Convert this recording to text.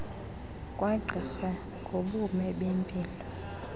kagqirha ngobume bempilo